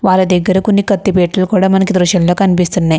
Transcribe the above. వీళ్ళ దగ్గర కొన్ని కత్తి పెట్టలు కూడా మనకు ఈ దృష్టములో కనిపిస్తున్నయ్.